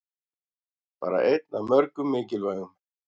Bara einn af mörgum mikilvægum